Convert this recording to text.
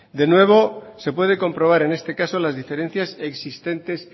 de nuevo se puede comprobar en este caso las diferencias existentes